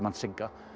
Sigga